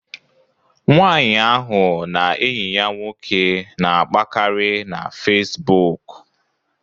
Nwaanyị ahụ na enyi ya nwoke na-akpakarị na Fesbụụk